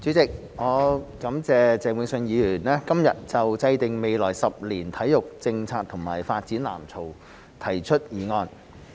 主席，我感謝鄭泳舜議員今日就"制訂未來十年體育政策及發展藍圖"提出議案。